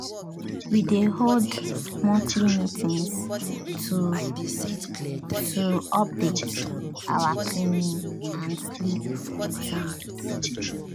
we dey hold monthly meetings to to update our cleaning and sleep routines.